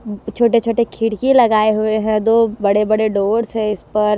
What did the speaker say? छोटे छोटे खिड़की लगाये हुए है दो बड़े बड़े डोर्स है इस पर--